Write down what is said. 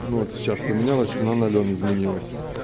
ну вот сейчас поменялось цена на лён изменилось